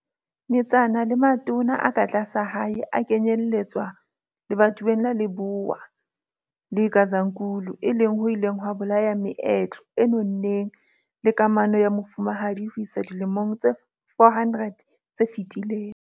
Metsana le matona a ka tlasa hae a kenyelletswa lebatoweng la Lebowa le Gazankulu e leng ho ileng ha bolaya meetlo e nonneng le kamano ya mofumahadi ho isa dilemong tse 400 tse fetileng.